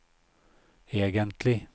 egentlig